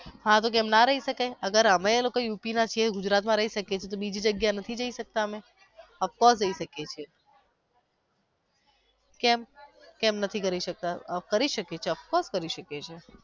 હા તો કેમ નો રય શકાય અગર અમે લોકો યુપી ના છીએ ગુજરાત માં રય શકીયે છી તો બીજી જગ્યાએ નથી જઈ શકતા અમે of course જઈ શકીયે છી કેમ કેમ નથી કરી શકતા ચોક્કસ કરી શકીએ છી.